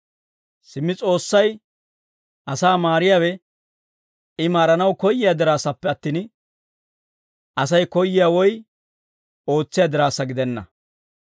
Simmi S'oossay asaa maariyaawe I maaranaw koyyiyaa diraassappe attin, Asay koyyiyaa woy ootsiyaa diraassa gidenna.